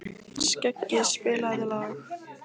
Skeggi, spilaðu lag.